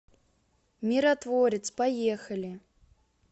миротворец поехали